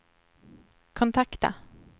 kontakta